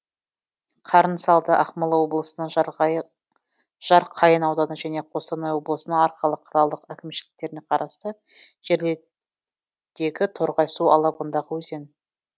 қарынсалды ақмола облысының жарқайың ауданы және қостанай облысының арқалық қалалық әкімшіліктеріне қарасты жерлердегі торғай су алабындағы өзен